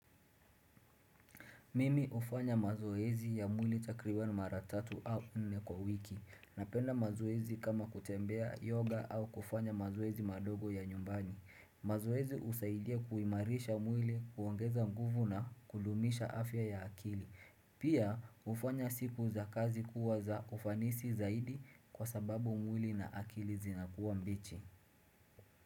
Mimi ufanya mazoezi ya mwili takriban maratatu au nne kwa wiki. Napenda mazoezi kama kutembea yoga au kufanya mazoezi madogo ya nyumbani. Mazoezi husaidia kuimarisha mwili kuongeza nguvu na kud. Umisha afya ya akili. Pia hufanya siku za kazi kuwa za ufanisi zaidi kwa sababu mwili na akili zinakuwa mbichi.